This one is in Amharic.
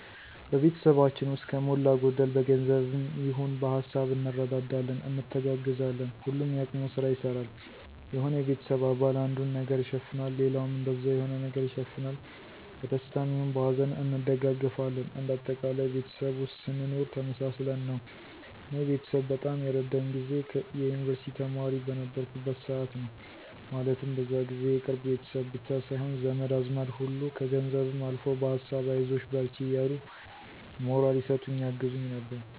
ቤተሰባችን ውስጥ ከሞላ ጎደል በገንዘብም ይሆን በሀሳብ እንረዳዳለን፣ እንተጋገዛለን። ሁሉም የአቅሙን ስራ ይሰራል። የሆነ የቤተሰብ አባል አንዱን ነገር ይሸፍናል ሌላውም እንደዛው የሆነ ነገር ይሸፍናል። በደስታም ይሁን በሀዘን እንደጋገፋለን እንደ አጠቃላይ ቤተሰብ ውስጥ ስንኖር ተመሳስለን ነው። እኔ ቤተሰብ በጣም የረዳኝ ጊዜ የዩንቨርስቲ ተማሪ በነበርኩበት ሰዓት ነው። ማለትም በዛ ጊዜ የቅርብ ቤተሰብ ብቻ ሳይሆን ዘመድ አዝማድ ሁሉ ከገንዘብም አልፎ በሀሳብ አይዞሽ በርቺ እያሉ ሞራል ይሰጡኝ ያግዙኝ ነበር።